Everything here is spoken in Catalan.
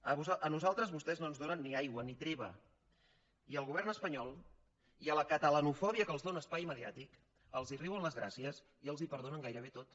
a nosaltres vostès no ens donen ni aigua ni treva i al govern espanyol i a la catalanofòbia que els dóna espai mediàtic els riuen les gràcies i els ho perdonen gairebé tot